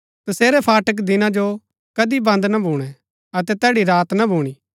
तसेरै फाटक दिना जो कदी बन्द ना भूणै अतै तैड़ी रात ना भूणी